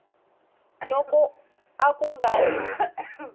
loko a ku nga ri